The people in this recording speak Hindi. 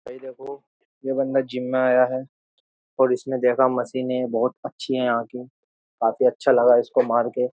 ये बंदा जिम में आया है और इसने देखा मशीन है बहुत अच्छी है यहां की काफी अच्छा लगा इसको मार के --